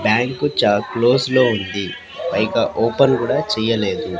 Bank చ్చ close లో ఉంది పైగా ఓపెన్ కూడా చెయ్యలేదు.